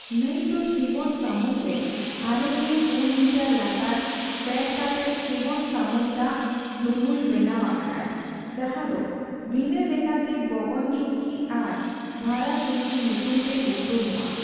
ᱱᱟᱹᱭ ᱫᱚ ᱥᱤᱵᱚᱱ ᱥᱟᱹᱢᱩᱫᱽ ᱨᱮ ᱟᱨᱮᱜᱮᱞ ᱯᱩᱱ ᱢᱤᱴᱟᱨ ᱞᱟᱛᱟᱨ ᱯᱷᱮᱰ ᱠᱟᱛᱮᱫ ᱥᱤᱵᱚᱱ ᱥᱟᱹᱢᱩᱫᱽ ᱫᱟᱜ ᱫᱩᱱᱩᱞ ᱵᱮᱱᱟᱣ ᱟᱠᱟᱫᱟᱭ ᱡᱟᱦᱟᱸ ᱫᱚ ᱵᱷᱤᱱᱟᱹ ᱞᱮᱠᱟᱛᱮ ᱜᱚᱜᱚᱱ ᱪᱩᱠᱠᱤ ᱟᱨ ᱵᱷᱟᱨᱟ ᱪᱩᱠᱠᱤ ᱧᱩᱛᱩᱢ ᱛᱮ ᱩᱯᱨᱩᱢᱚᱜᱼᱟ ᱾